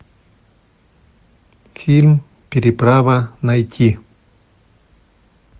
фильм переправа найти